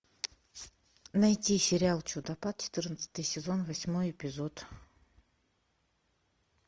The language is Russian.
найти сериал чудопад четырнадцатый сезон восьмой эпизод